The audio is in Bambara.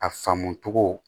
A faamu cogo